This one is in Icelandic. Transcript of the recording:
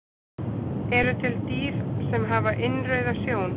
Eru til dýr sem hafa innrauða sjón?